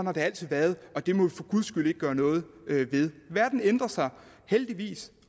har altid været og det må vi for guds skyld ikke gøre noget ved verden ændrer sig heldigvis